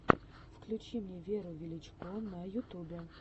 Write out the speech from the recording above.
включи мне веру величко на ютубе